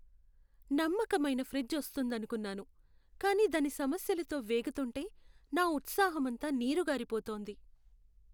నమ్మకమైన ఫ్రిజ్ వస్తుందనుకున్నాను, కానీ దాని సమస్యలతో వేగుతుంటే నా ఉత్సాహమంతా నీరుగారిపోతోంది.